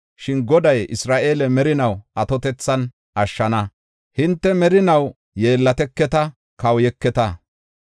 Shin Goday Isra7eele merinaa atotethan ashshana; hinte merinaw yeellateketa kawuyeketa.